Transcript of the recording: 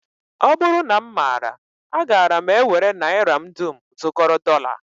Ọ bụrụ na m maara agaara m ewere naira m dum zụkọrọ dọla